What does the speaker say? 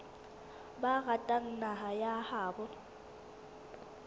ba ratang naha ya habo